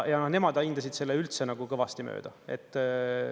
Ja nemad hindasid selle üldse kõvasti mööda.